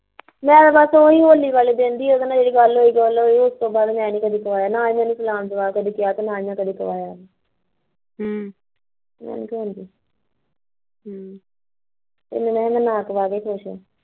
ਗੱਲ ਬਸ ਉਹੀਂ ਹੋਲੀ ਵਾਲੇ ਦਿਨ ਦੀ ਉਹਦੇ ਨਾਲ਼ ਜਿਹੜੀ ਗੱਲ ਹੋਈ ਹੋਈ ਉਸਤੋਂ ਬਾਦ ਮੈਨੀ ਕਦੀ ਕਹਾਇਆ ਨਾ ਇਹਨੇ ਮੈਂ ਚਲਣ ਲਗਾਇਆ ਤੇ ਨਾ ਏਹਣੇ ਮੈਨੂੰ ਕਦੀ ਕਿਹਾਂ ਹਮ ਮੈਨੀ ਕਹਾਉਂਦੀ ਹਮ ਇਹਤੋਂ ਨਾ ਕਹਾ ਕੇ ਖੁਸ਼ ਐ